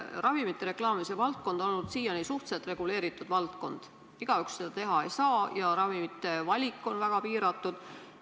Ravimite reklaamimise valdkond on olnud siiani suhteliselt reguleeritud – igaüks seda teha ei saa ja ravimite valik on väga piiratud.